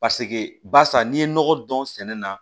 Paseke barisa n'i ye nɔgɔ dɔn sɛnɛ na